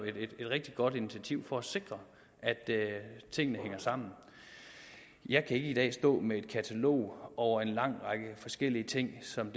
et rigtig godt initiativ for at sikre at tingene hænger sammen jeg kan ikke i dag stå med et katalog over en lang række forskellige ting som